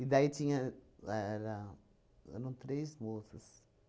E daí tinha... era eram três moças.